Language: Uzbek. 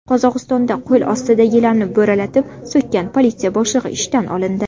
Qozog‘istonda qo‘l ostidagilarni bo‘ralatib so‘kkan politsiya boshlig‘i ishdan olindi.